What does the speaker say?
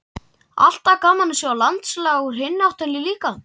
Alltaf gaman að sjá landslag úr hinni áttinni líka.